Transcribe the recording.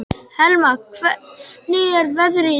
Helma, hvernig er veðrið í dag?